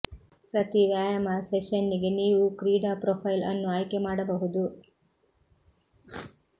ಪ್ರತಿ ವ್ಯಾಯಾಮ ಸೆಶನ್ನಿಗೆ ನೀವು ಕ್ರೀಡಾ ಪ್ರೊಫೈಲ್ ಅನ್ನು ಆಯ್ಕೆ ಮಾಡಬಹುದು